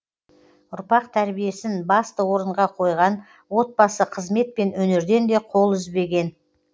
ұрпақ тәрбиесін басты орынға қойған отбасы қызмет пен өнерден де қол үзбеген